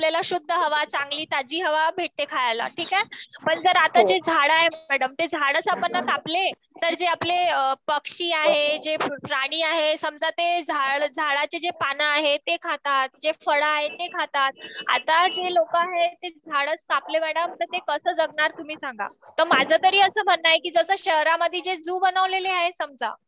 हो मॅडम पण हे बघा झाड कापले जस आता पर्यावरण मुळे जस आपले झाड असले तर आपल्याला शुद्ध हवा चांगली ताजी हवा भेटते खायला ठीकये? पण जर आता जे झाड आहे जर ते झाड आपण जर कापले जे आपले पक्षी आहे, जे प्राणी आहे समजा ते झाडाचे जे पान आहेत ते खातात, जे फळ आहेत ते खातात आता जे लोक आहे ते झाड़च कापले मॅडम तर ते कस जगणार आता तुम्ही हे सांगा. तर माझ तरी अस म्हणन आहे की जस शहरामधे जे झू बनवलेले आहेत समजा